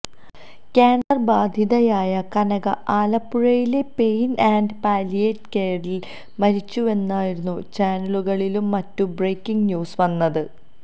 cancer ബാധിതയായ കനക ആലപ്പുഴയിലെ pain and palliative കെയറില് മരിച്ചുവെന്നായിരുന്നു ചാനലുകളിലും മറ്റും ബ്രേക്കിങ് ന്യൂസ് വന്നത്